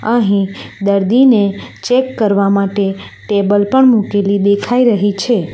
અહીં દર્દીને ચેક કરવા માટે ટેબલ પણ મૂકેલી દેખાઈ રહી છે.